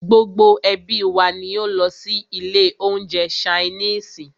Gbogbo ẹ́bí wa ní o lọ sí ilé oúnjẹ ṣainiisi.